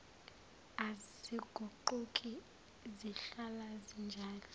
aziguquki zihlala zinjalo